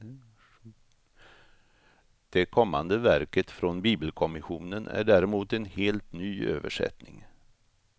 Det kommande verket från bibelkommissionen är däremot en helt ny översättning.